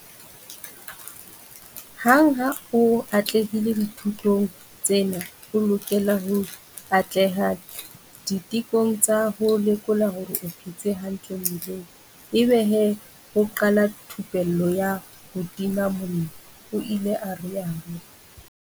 Hang ha o atlehile dithutong tsena o lokela ho atleha ditekong tsa ho lekola hore o phetse hantle mmeleng ebe he ho qala thupello ya ho tima mollo, o ile a rialo.